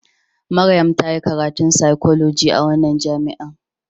Maryam ta yi karatun fsychology a wannan jami'a.